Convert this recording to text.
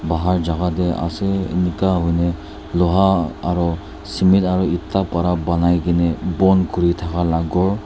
bahar jaga te ase eneka hoine loha aru cement aru eta para banai kena bon kuri thaka ghor.